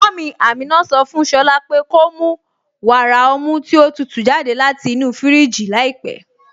Mummy Ámínà sọ fún Shọ̀lá po ko mù wàrà ọ̀mù tí o tútú jàdẹ̀ láti inú fíríjì làípẹ̀.